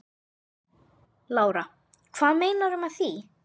Lára: Hvað meinarðu með því?